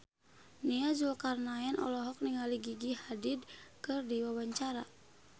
Nia Zulkarnaen olohok ningali Gigi Hadid keur diwawancara